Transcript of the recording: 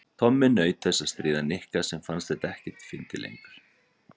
Tommi naut þess að stríða Nikka sem fannst þetta ekkert fyndið lengur.